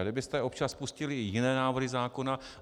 A kdybyste občas pustili i jiné návrhy zákona...